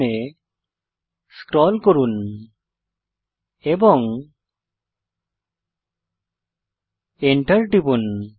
println এ scroll করুন এবং Enter টিপুন